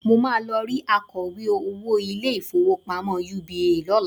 Mo máa lọ rí akọ̀wé owó ilé-ìfowópamọ́ UBA lọ́la